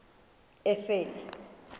efele